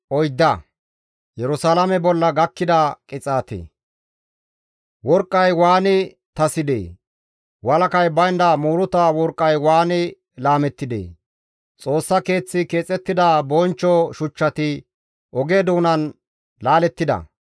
Worqqay waani tasides; Walakay baynda muuruta worqqay waani laamettidee! Xoossa keeththi keexettida bonchcho shuchchati oge doonan laalettida.